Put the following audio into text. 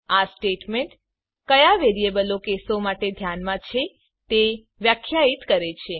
આ સ્ટેટમેન્ટ કયા વેરીયેબલો કેસો માટે ધ્યાનમાં છે તે વ્યાખ્યાયિત કરે છે